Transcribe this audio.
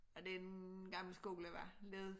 Er det en gammel skole hvad led